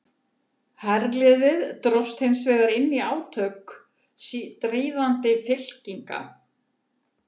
Herliðið dróst hins vegar inn í átök stríðandi fylkinga.